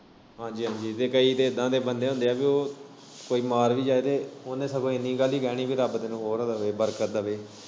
ਹਾਂਜੀ ਹਾਂਜੀ ਤੇ ਕਈ ਤੇ ਏਦਾਂ ਦੇ ਬੰਦੇ ਹੁੰਦੇ ਪੀ ਓ ਕੋਈ ਮਾਰ ਵੀ ਜਾਏ ਉਨੇ ਸਗੋਂ ਇੰਨੀ ਗੱਲ ਹੀ ਕਹਿਨੀ ਰੱਬ ਤੈਨੂੰ ਹੋਰ ਦਵੇ ਬਰਕਤ ਦਵੇ।